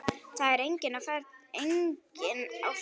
Það er enginn á ferli.